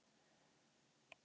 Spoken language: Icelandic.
Ný mál þá?